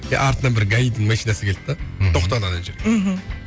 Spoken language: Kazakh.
и артынан бір гаидің машинасы келді де мхм тоқтады ана жерге мхм